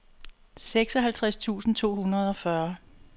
seksoghalvtreds tusind to hundrede og fyrre